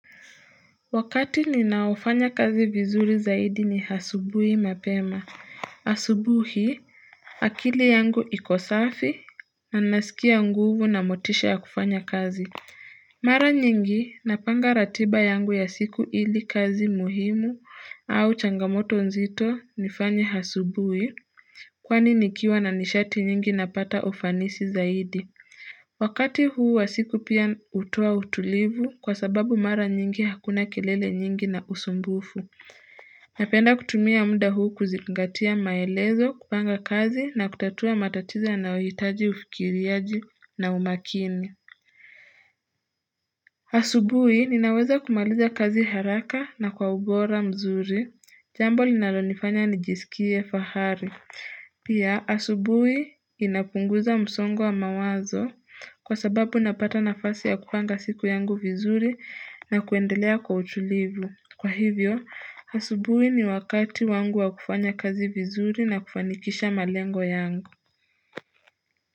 Wakati ninaofanya kazi vizuri zaidi ni asubuhi mapema. Asubuhi, akili yangu ikosafi, nanasikia nguvu na motisha ya kufanya kazi. Mara nyingi, napanga ratiba yangu ya siku ili kazi muhimu au changamoto nzito nifanye asubuhi. Kwani nikiwa na nishati nyingi napata ufanisi zaidi. Wakati huu wasiku pia hutoa utulivu kwa sababu mara nyingi hakuna kelele nyingi na usumbufu. Napenda kutumia muda huu kuzingatia maelezo, kupanga kazi na kutatua matatizo yanayohitaji ufikiriaji na umakini. Asubuhi ninaweza kumaliza kazi haraka na kwa ugora mzuri. Jambo linalonifanya nijisikie fahari. Pia asubui inapunguza msongo wa mawazo kwa sababu napata nafasi ya kupanga siku yangu vizuri na kuendelea kwa utulivu. Kwa hivyo, asubuhi ni wakati wangu wa kufanya kazi vizuri na kufanikisha malengo yangu.